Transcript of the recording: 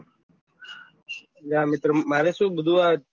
યા મિત્ર મારે શું બધું આ